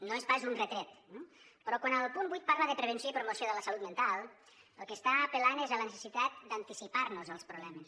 no és pas un retret eh però quan al punt vuit parla de prevenció i promoció de la salut mental al que està apel·lant és a la necessitat d’anticipar nos als problemes